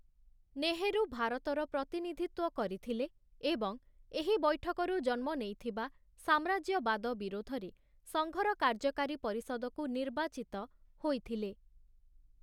ନେହେରୁ ଭାରତର ପ୍ରତିନିଧିତ୍ୱ କରିଥିଲେ ଏବଂ ଏହି ବୈଠକରୁ ଜନ୍ମ ନେଇଥିବା ସାମ୍ରାଜ୍ୟବାଦ ବିରୋଧରେ ସଙ୍ଘ‌ର କାର୍ଯ୍ୟକାରୀ ପରିଷଦକୁ ନିର୍ବାଚିତ ହୋଇଥିଲେ ।